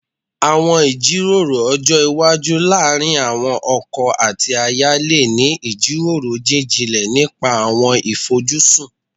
Àwọn ìjíròrò ọjọ́ iwájú láàárín àwọn ọkọ àti aya lè ní ìjíròrò jíjinlẹ̀ nípa àwọn ìfojúsùn